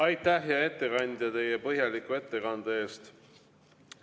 Aitäh, hea ettekandja, teie põhjaliku ettekande eest!